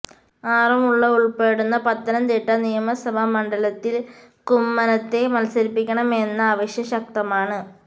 ആറന്മുള ഉള്പ്പെടുന്ന പത്തനംതിട്ട നിയമസഭാ മണ്ഡലത്തില് കുമ്മനത്തെ മത്സരിപ്പിക്കണമെന്ന ആവശ്യം ശക്തമാണ്